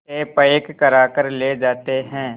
से पैक कराकर ले जाते हैं